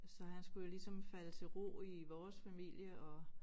Så han skulle jo ligesom falde til ro i vores familie og